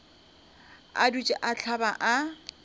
a dutše a hlaba a